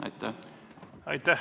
Aitäh!